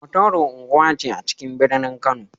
Hotoro unguwa ce a cikin birnin Kano.